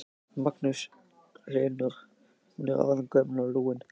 Magnús Hlynur: Hún er orðin gömul og lúin?